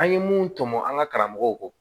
An ye mun tɔmɔ an ka karamɔgɔw kɔ